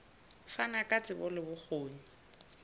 fana ka tsebo le bokgoni